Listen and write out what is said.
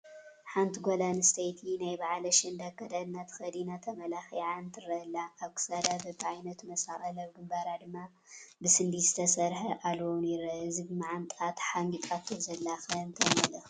ሓንቲ ጓል ኣነስተይቲ ናይ በዓል ኣሸንዳ ኣከዳድና ተኸዲናን ተመላኺዓን ትረአ ኣላ፡፡ ኣብ ክሳዳ በብዓይነቱ መሳቕል ኣብ ግንባራ ድማ ብስንዲድ ዝተሰርሐ ኣልቦ ውን ይረአ፡፡ እቲ ብማዓንጣኣ ተሓንጊጣቶ ዘላ ኸ እንታይ መልእኽቲ ኣለዎ?